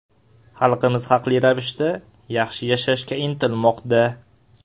Xalqimiz haqli ravishda yaxshi yashashga intilmoqda.